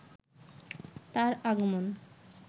তার আগমন